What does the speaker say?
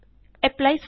ਐਪਲੀ styles